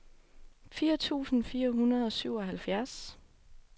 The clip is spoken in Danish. firs tusind fire hundrede og syvoghalvfjerds